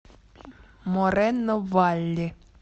морено валли